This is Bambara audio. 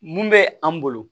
Mun bɛ an bolo